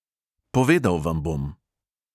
Povedal vam bom.